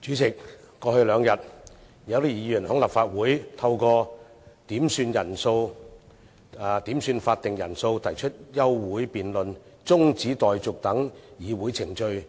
主席，過去兩天，有些議員在立法會透過點算法定人數、提出休會辯論和中止待續議案等議會程序